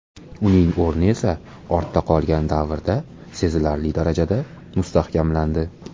Uning o‘rni esa ortda qolgan davrda sezilarli darajada mustahkamlandi.